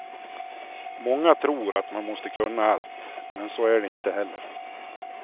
Många tror att man måste kunna allt, men så är det inte heller.